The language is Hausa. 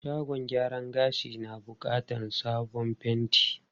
Shagon gyaran gashin na bukatar sabon fenti.